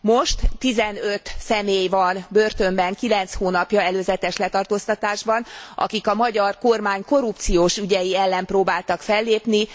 Most 15 személy van börtönben kilenc hónapja előzetes letartóztatásban, akik a magyar kormány korrupciós ügyei ellen próbáltak fellépni.